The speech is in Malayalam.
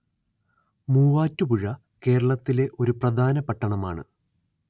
മൂവാറ്റുപുഴ കേരളത്തിലെ ഒരു പ്രധാന പട്ടണമാണ്